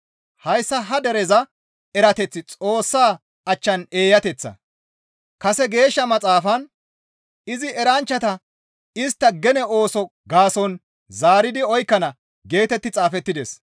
Hayssa ha dereza erateththi Xoossa achchan eeyateththa; kase Geeshsha Maxaafan, «Izi eranchchata istta gene ooso gaason zaaridi oykkana» geetetti xaafettides.